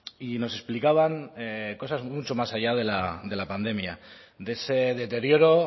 y nos explicaban cosas mucho más allá de la pandemia de ese deterioro